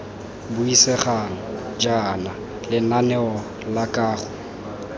buisegang jaana lenaneo la kago